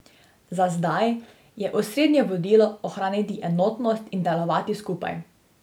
Za zdaj je osrednje vodilo ohraniti enotnost in delovati skupaj.